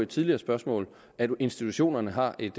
tidligere spørgsmål at institutionerne har et